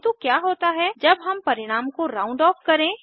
किन्तु क्या होता है जब हम परिणाम को राउंड ऑफ करें